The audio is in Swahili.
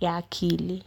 ya akili.